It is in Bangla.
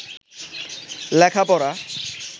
লেখাপড়া